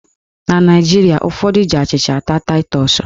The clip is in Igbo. Na Naijiria, ụfọdụ ji achịcha ata taịtọs.